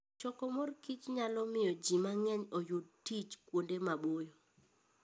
Choko mor kich nyalo miyo ji mang'eny oyud tich kuonde maboyo.